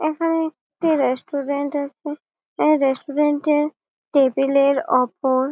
এখানে একটি রেস্টুরেন্ট আছে এই রেস্টুরেন্ট -এর টেবিল -এর ওপর--